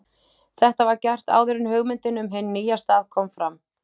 Þetta var gert áður en hugmyndin um hinn nýja stað kom fram.